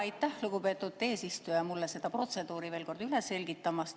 Jaa, aitäh, lugupeetud eesistuja, mulle seda protseduuri veel kord üle selgitamast!